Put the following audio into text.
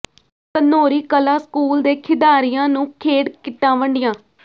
Ghanauri Kalan school ਦੇ ਖਿਡਾਰੀਆਂ ਨੂੰ ਖੇਡ ਕਿੱਟਾਂ ਵੰਡੀਆਂ